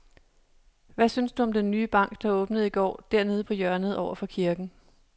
Hvad synes du om den nye bank, der åbnede i går dernede på hjørnet over for kirken?